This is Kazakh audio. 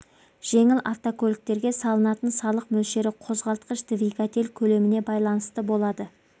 жеңіл автокөліктерге салынатын салық мөлшері қозғалтқыш двигатель көлеміне байланысты болады